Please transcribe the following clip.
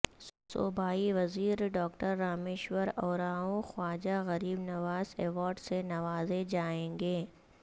صوبائی وزیر doctor Rameshwar Oraon Khwaja Gharib Nawaz award سے نوازے جائیں گے